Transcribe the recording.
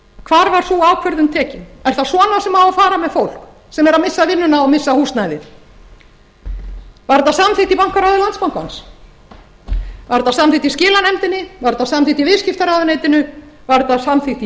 hvar var sú ákvörðun tekin er það svona sem á að fara með fólk sem er að missa vinnuna og missa húsnæðið var þetta samþykkt í bankaráði landsbankans var þetta samþykkt í skilanefndinni var þetta samþykkt í viðskiptaráðuneytinu var þetta samþykkt í